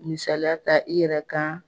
Misaliya ta i yɛrɛ kan